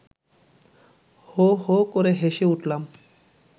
হো হো করে হেসে উঠলাম